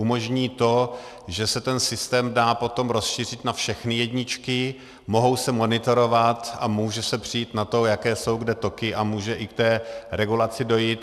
Umožní to, že se ten systém dá potom rozšířit na všechny jedničky, mohou se monitorovat a může se přijít na to, jaké jsou kde toky, a může i k té regulaci dojít.